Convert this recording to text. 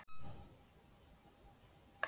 Nú eruð þið búin að hita upp.